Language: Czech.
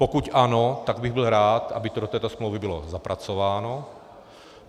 Pokud ano, tak bych byl rád, aby to do této smlouvy bylo zapracováno.